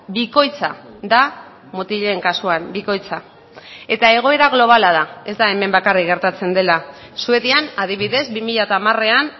bikoitza da mutilen kasuan bikoitza eta egoera globala da ez da hemen bakarrik gertatzen dela suedian adibidez bi mila hamarean